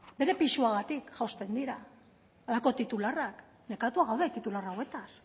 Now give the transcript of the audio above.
bere pisuagatik jausten dira halako titularrak nekatuak gaude titular hauetaz